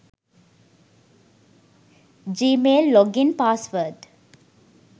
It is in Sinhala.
gmail login password